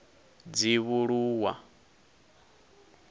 dzivhuluwa